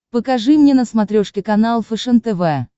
покажи мне на смотрешке канал фэшен тв